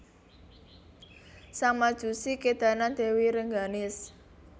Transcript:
Sang Majusi kédanan Dèwi Rengganis